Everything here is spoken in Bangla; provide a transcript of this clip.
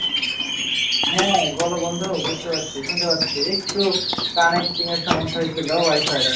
হ্যাঁ বলো বন্ধু বুঝতে পারছি শুনতে পারছি একটু কানেক্টিংয়ের সমস্যা হয়েছিল ওয়াইফাইয়ের আর কী